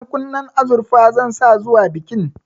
Ɗankunnen azurfan zan sa zuwa bikin